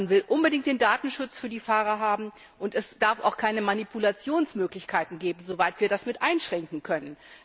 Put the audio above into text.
Man will unbedingt den Datenschutz für die Fahrer haben, und es darf auch keine Manipulationsmöglichkeiten geben, soweit wir das mit einschränken können.